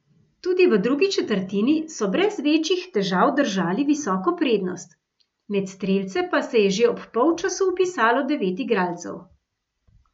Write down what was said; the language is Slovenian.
Tudi v drugi četrtini so brez večjih težav držali visoko prednost, med strelce pa se je že ob polčasu vpisalo devet igralcev.